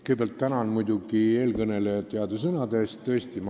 Kõigepealt tänan muidugi eelkõnelejat heade sõnade eest!